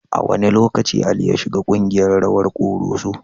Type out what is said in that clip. A wane lokaci Ali ya shiga kungiyar rawan Koroso?